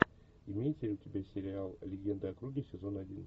имеется ли у тебя сериал легенды о круге сезон один